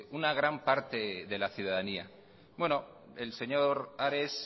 una gran parte de la ciudadanía bueno el señor ares